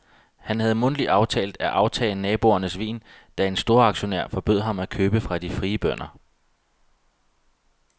Han havde mundtligt aftalt at aftage naboernes vin, da en ny storaktionær forbød ham at købe fra de frie bønder.